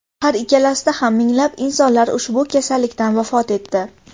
Har ikkalasida ham minglab insonlar ushbu kasallikdan vafot etdi .